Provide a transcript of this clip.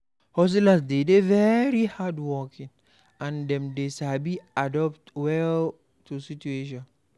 Hustlers dey de very hardworking and dem dey sabi adapt well to situations